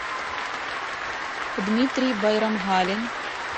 дмитрий байрамгалин